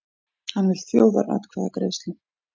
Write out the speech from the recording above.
Hann vill þjóðaratkvæðagreiðslu